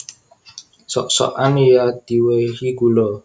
Sok sokan ya diwèhi gula